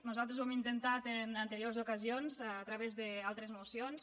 nosaltres ho hem intentat en anteriors ocasions a través d’altres mocions